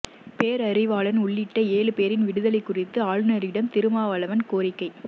பேரறிவாளன் உள்ளிட்ட ஏழு பேரின் விடுதலை குறித்து ஆளுநரிடம் திருமாவளவன் கோரிக்கை